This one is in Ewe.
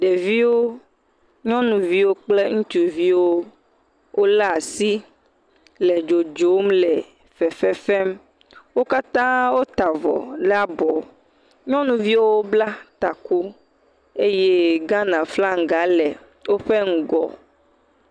Ɖeviwo, nyɔnuviwo kple ŋutsuviwo, wole asi le dzodzom le fefefem, wo katã wòta avɔ le abɔ, nyɔnuviwo bla taku eye Ghana flaga le wò ƒe ŋugɔ.